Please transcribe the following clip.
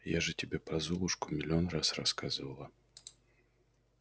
я же тебе про золушку миллион раз рассказывала